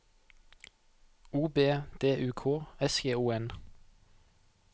O B D U K S J O N